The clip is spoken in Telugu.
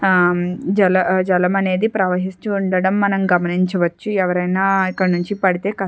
ఆ జల జలమనేది ప్రవహించి ఉండడం మనం గమనించవచ్చు ఎవరన్నా ఇక్కడ్నించి పడితే కష్టం.